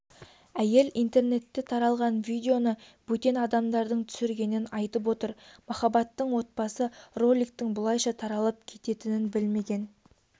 әйел интернетте таралған видеоны бөтен адамдардың түсіргенін айтып отыр махаббаттың отбасы роликтің бұлайша таралып кететінін білмеген